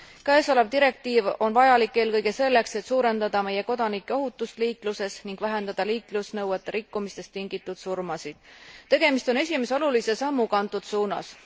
Käesolev direktiiv on vajalik eelkõige selleks, et suurendada meie kodanike ohutust liikluses ning vähendada liiklusnõuete rikkumistest tingitud surmasid. Tegemist on esimese olulise sammuga antud suunas.